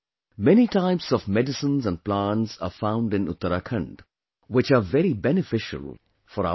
Many types of medicines and plants are found in Uttarakhand, which are very beneficial for our health